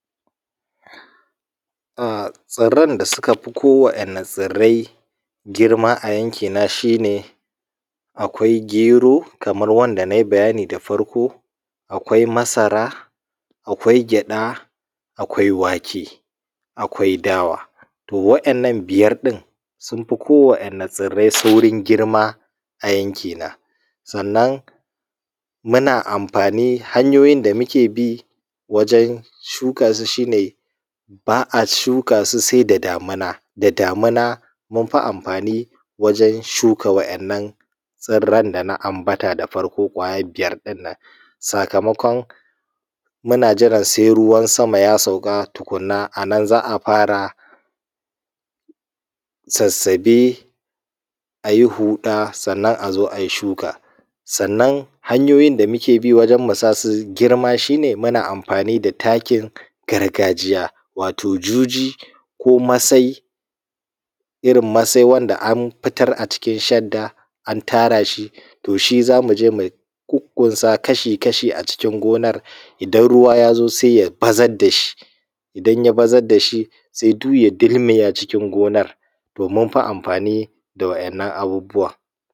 Tsiran da suka fi ko wani tsirai girma a yanki na shine akwai gero kamar wanda nai bayani da farko akwai masara akwai gyada akwai wake akwai dawa yannan biyar din sunfi ko wa yanne tsirrai saurin girma a yanki na sannan hanyoyin da mukebi gurin shukasu shine ba’a shuka su sai da damina da damina munfi amfani wajen shuka wannan n tsirran dana ambata guda biyar dinnan sakamakon muna jiran sai ruwan sama ya sauka tukunna anan za’a fara sassabe ayi huda sannan azo ayi shuka sannan hanyoyin da mukebi gurin mu sasu girma shine muna amfani da takin gargajiya wato juji ko masai irin masai da masara wanda an fitara jikin shadda to shi zamuje mu kukkunsa kashi kashi a cikin gonan in ruwa yazo sai ya bazaɽ dashi inya bazar dashi zai dulmiϳa acikin gonan to munpi amfani da wainan abubuwan.